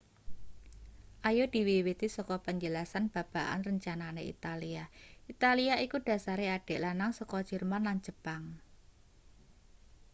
ayo diwiwiti saka penjelasan babagan rencanane italia italia iku dhasare adik lanang saka jerman lan jepang